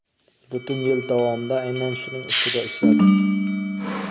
Butun yil davomida aynan shuning ustida ishladik.